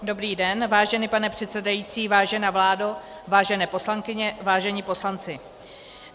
Dobrý den, vážený pane předsedající, vážená vládo, vážené poslankyně, vážení poslanci.